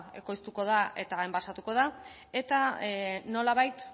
ekoiztuko da eta enbasatuko da eta nolabait